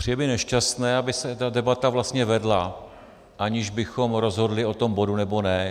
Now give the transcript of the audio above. Přijde mi nešťastné, aby se ta debata vlastně vedla, aniž bychom rozhodli o tom bodu, nebo ne.